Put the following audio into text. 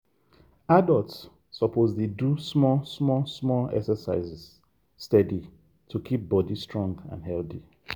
adults suppose dey do small small small exercise steady to keep body strong and healthy.